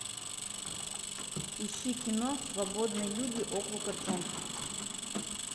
ищи кино свободные люди округа джонс